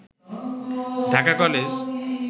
Dhaka college